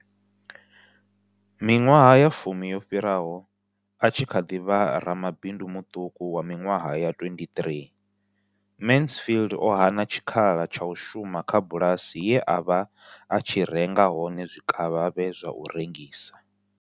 Miṅwaha ya fumi yo fhiraho, a tshi kha ḓi vha ramabindu muṱuku wa miṅwaha ya 23, Mansfield o hana tshikhala tsha u shuma kha bulasi ye a vha a tshi renga hone zwikavhavhe zwa u rengisa.